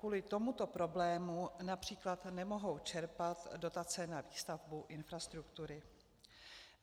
Kvůli tomuto problému například nemohou čerpat dotace na výstavbu infrastruktury.